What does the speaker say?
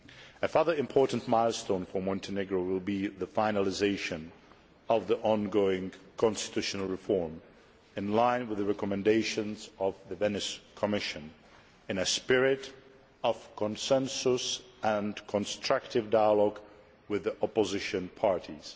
A further important milestone for Montenegro will be the finalisation of the ongoing constitutional reform, in line with the recommendations of the Venice Commission, in a spirit of consensus and constructive dialogue with the opposition parties.